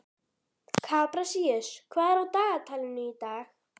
Kaprasíus, hvað er á dagatalinu í dag?